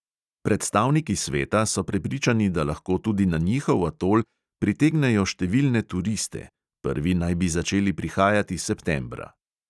Predstavniki sveta so prepričani, da lahko tudi na njihov atol pritegnejo številne turiste; prvi naj bi začeli prihajati septembra.